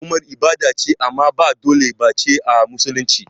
Zuwa umrah ibada ce amma ba dole bace a musulunci